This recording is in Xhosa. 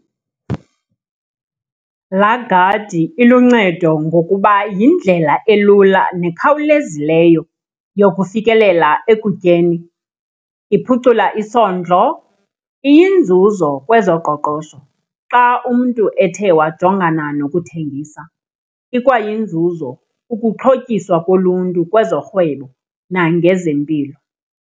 Laa gadi iluncedo ngokuba yindlela elula nekhawulezileyo yokufikelela ekutyeni. Iphucula isondlo, iyinzuzo kwezoqoqosho xa umntu ethe wajongana nokuthengisa. Ikwayinzuzo ukuxhotyiswa koluntu kwezorhwebo nangezempilo.